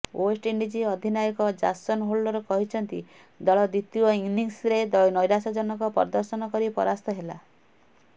West Indies ଅଧିନାୟକ Jason Holder କହିଛନ୍ତି ଦଳ ଦ୍ୱିତୀୟ ଇନିଂସରେ ନୈରାଶ୍ୟଜନକ ପ୍ରଦର୍ଶନ କରି ପରାସ୍ତ ହେଲା